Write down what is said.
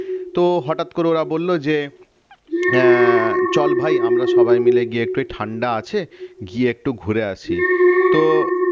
তো হঠাৎ করে ওরা বলল যে আহ চল ভাই আমরা সবাই মিলে গিয়ে ওই তো ঠান্ডা আছে গিয়ে একটু ঘুরে আসি তো